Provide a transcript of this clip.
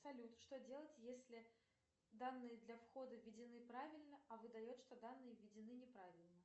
салют что делать если данные для входа введены правильно а выдает что данные введены не правильно